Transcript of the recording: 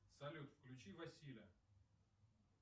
салют включи василя